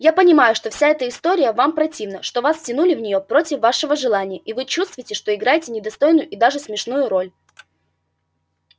я понимаю что вся эта история вам противна что вас втянули в нее против вашего желания и вы чувствуете что играете недостойную и даже смешную роль